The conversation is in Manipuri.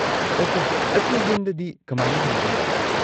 ꯑꯣꯀꯦ, ꯑꯩꯈꯣꯏ ꯌꯨꯝꯗꯗꯤ ꯀꯃꯥꯏꯅ ꯍꯟꯒꯅꯤ?